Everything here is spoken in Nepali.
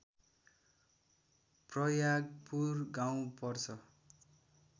प्रयागपुर गाउँ पर्छ